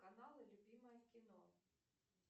каналы любимое кино